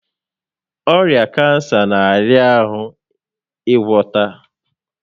Ọrịa kansa n'ahịa ahụ ịgwọta